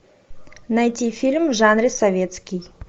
найти фильм в жанре советский